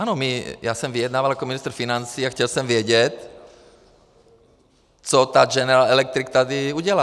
Ano, já jsem vyjednával jako ministr financí a chtěl jsem vědět, co ta General Electric tady udělá.